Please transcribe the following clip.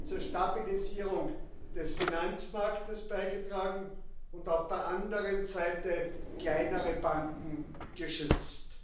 zur Stabilisierung des Finanzmarkts beigetragen und auf der anderen Seite kleinere Banken geschützt.